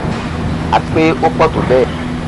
àti pé ó pọ tó bẹẹ